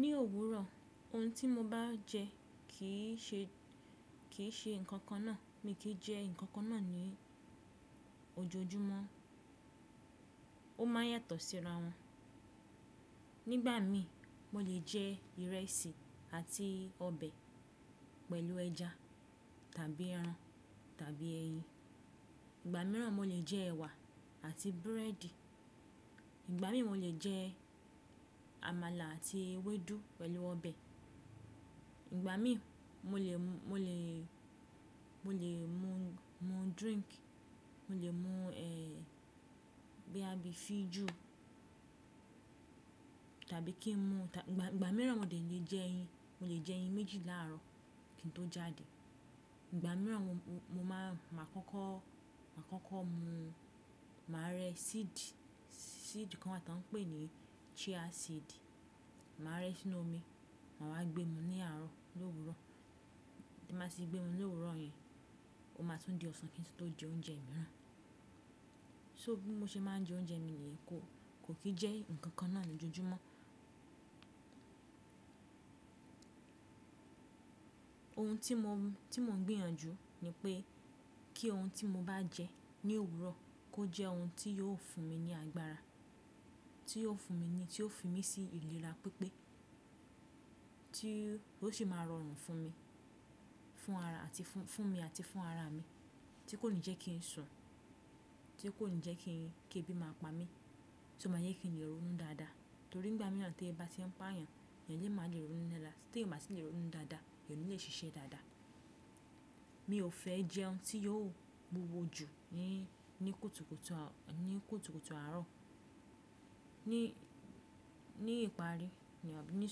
Ní òwúrọ̀ ohun tí mo bá jẹ kì í ṣe, kì í ṣe nǹkan kan náà. Mi kì í jẹ nǹkan kan náà ní ojoojúmọ́. Ó má a yàtọ̀ síra wọn. Nígbà mí mo lè jẹ ìrẹsì àti ọbẹ̀ pẹ̀lú ẹja tàbí ẹran tàbí ẹyin. Ìgbà mìíràn mo lè jẹ ẹ̀wà àti búrẹ́dì. Ìgbà mí mo lè jẹ àmàlà àti ewédú pẹ̀lú ọbẹ̀. Ìgbà mí mo lè, mo lè, mo lè mu drink, mo lè mu ẹ́ bí a bí i fijù tàbí kí n mu-- ìgbà, ìgbà mìíràn mo lè jẹ ẹyin, mo lè jẹ ẹyin méjì láàárọ̀ kí n tó jáde. Ìgbà mìíràn mo má a, má a kọ́kọ́, má a kọ́kọ́ mu, mà a rẹ́ seed, seed kan náà ta ń pè ní chia seed. Mà a rẹ́ sínú omi, mà a wá gbé mu ní àárọ̀ l’òwúrọ̀. Tí màá ṣe gbé wọn l'òwúrọ̀ yẹn, ó má a tún di ọ̀sán kí n tó jẹ oúnjẹ mìíràn. So bí mo ṣe máa ń jẹ oúnjẹ mi nìyẹn. Kò kì í jẹ́ ǹkan kan náà ní ojojúmọ́. Ohun tí mo, tí mo ń gbìyànjú ni pé kí ohun tí mo bá jẹ ní òwúrọ̀ kó jẹ́ ohun tí yóò fún mi ní agbára, tí yóò fún mi ni, tí ó fi mi sí ìlera pípé, tí ó sì máa rọrùn fún mi, fún ara àti fún, fún mi àti fún ara mi, tí kò ní jẹ́ kí n sọn, tí kò ní jẹ́ kí, kí ẹbí máa pa mí, tí ó máa yẹ kí ni lè ronú dáadáa. Nítorí ìgbà mìíràn tí ebi ba ti ń pá èèyàn, èèyàn lè máa le ronú níla. Tí èèyàn bá sì le ronú dáadáa, èèyàn ò ní le ṣiṣẹ́ dáadáa. Mi ò fẹ́ jẹun tí yóò wúwo jù ní, ní kùtùkùtù, ní kùtùkùtù àárọ̀. Ní, ní ìparí, ní ọ̀, ní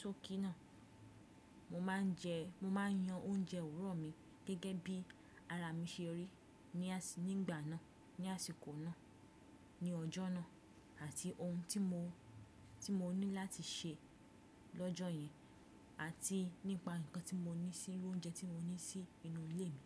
sókí náà mo máa ń jẹ, mo máa ń yan oúnjẹ òwúrọ̀ mi gẹ́gẹ́ bí ara mi ṣe rí ní àsì, ní ìgbà náà, ní àsìkò náà, ní ọjọ́ náà àti ohun tí mo, tí mo ní láti ṣe lọ́jọ́ yẹn, àti nípa ǹkan tí mo ní sí, lóúnjẹ tí mo ní sí inú ilé mi.